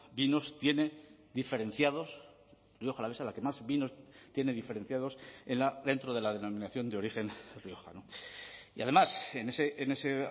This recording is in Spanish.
vinos tiene diferenciados rioja alavesa la que más vinos tiene diferenciados dentro de la denominación de origen rioja y además en ese